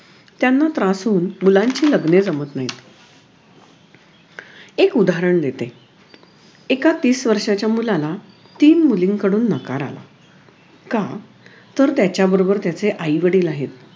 त्यांना त्रासून मुलांची लग्ने जमत नाहीत एक उदाहरण देते एका तीस वर्षाच्या मुलाला तीन मुलींकडून नकार आला का तर त्याच्या बरोबर त्याचे आई वडील आहेत